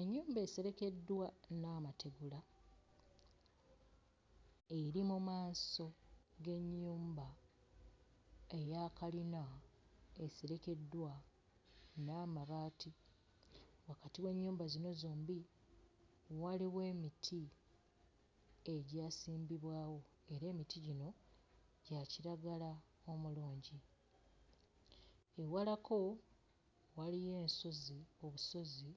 Ennyumba eserekeddwa n'amategula eri mu maaso g'ennyumba eya kalina eserekeddwa n'amabaati. Wakati w'ennyumba zino zombi waliwo emiti egyasimbibwawo era emiti gino gya kiragala omulungi. Ewalako waliyo ensozi obusozi